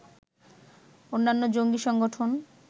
অন্যান্য জঙ্গী সংগঠন